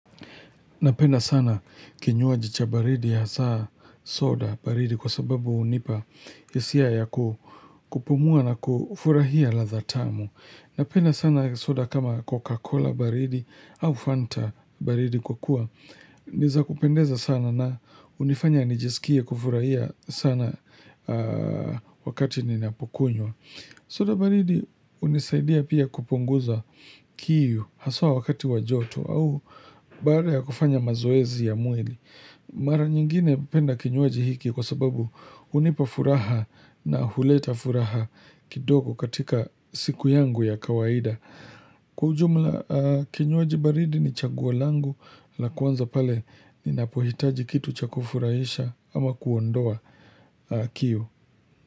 Napenda sana kinywaji cha baridi ya hasa soda baridi kwa sababu hunipa hisia ya kupumua na kufurahia ladha tamu. Napenda sana soda kama Coca-Cola baridi au Fanta baridi kwa kuwa. Ni za kupendeza sana na hunifanya nijisikie kufurahia sana wakati ninapkounywa. Soda baridi hunisaidia pia kupunguza kiu hasa wakati wa joto au baada ya kufanya mazoezi ya mwili. Mara nyingine napenda kinywaji hiki kwa sababu hunipa furaha na huleta furaha kidogo katika siku yangu ya kawaida. Kwa ujumla kinywaji baridi ni chaguo langu la kwanza pale ninapohitaji kitu cha kufurahisha ama kuondoa kiu.